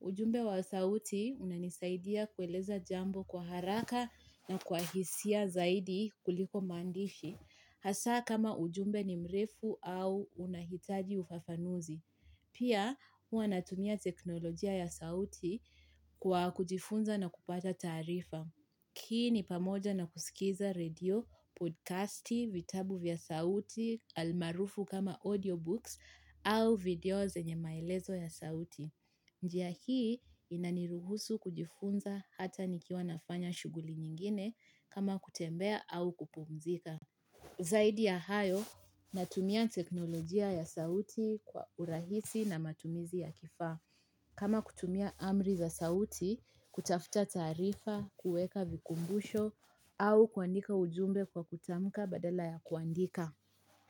Ujumbe wa sauti unanisaidia kueleza jambo kwa haraka na kwa hisia zaidi kuliko maandishi. Hasaa kama ujumbe ni mrefu au unahitaji ufafanuzi. Pia huwa natumia teknolojia ya sauti kwa kujifunza na kupata taarifa. Hii ni pamoja na kusikiza radio, podcasti, vitabu vya sauti, almarufu kama audiobooks au videos zenye maelezo ya sauti. Njia hii inaniruhusu kujifunza hata nikiwa nafanya shughuli nyingine kama kutembea au kupumzika. Zaidi ya hayo natumia teknolojia ya sauti kwa urahisi na matumizi ya kifaa kama kutumia amri za sauti kutafuta taarifa kuweka vikumbusho au kuandika ujumbe kwa kutamka badala ya kuandika.